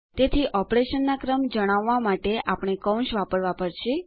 તેથી ઓપરેશનના ક્રમ જણાવવા માટે આપણે કૌંસ વાપરવા પડશે